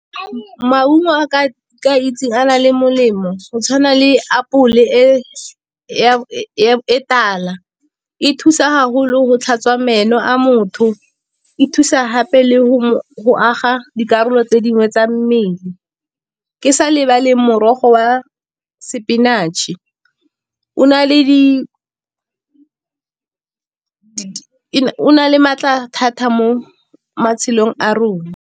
Maungo a ke a itseng a na le molemo go tshwana le apole e tala. E thusa haholo go tlhatswa meno a motho, e thusa gape le go aga dikarolo tse dingwe tsa mmele, ke sa lebale morogo wa spinach-e o na le maatla thata mo matshelong a rona.